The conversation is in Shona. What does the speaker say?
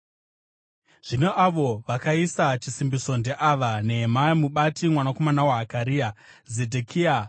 Zvino avo vakaisa chisimbiso ndeava: Nehemia mubati, mwanakomana waHakaria, Zedhekia,